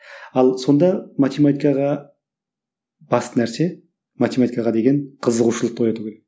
ал сонда математикаға басты нәрсе математикаға деген қызығушылықты ояту керек